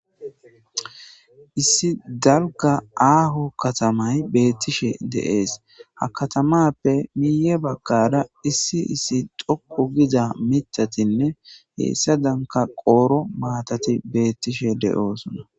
Issi dalga aaho katamay beettishe deees ha katamappe miiye baggada issi issi xokku giza mitatinne heessa danka qooro maatati beettishe de7oosona.